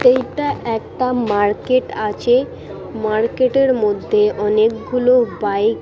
এইটা একটা মার্কেট আছে। মার্কেট -এর মধ্যে অনেকগুলো বাইক --